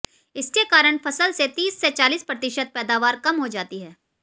इसके कारण फसल से तीस से चालीस प्रतिशत पैदावार कम हो जाती है